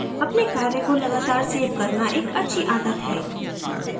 अपने कार्य को लगातार सेव करना एक अच्छी आदत है